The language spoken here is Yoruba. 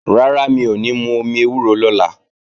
Rárá, mi ò ní mú omi ewúro lọ́la